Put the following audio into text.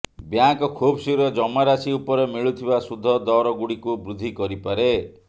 bank ଖୁବ୍ ଶୀଘ୍ର ଜମା ରାଶି ଉପରେ ମିଳୁଥିବା ସୁଧ ଦରଗୁଡିକୁ ବୃଦ୍ଧି କରିପାରେ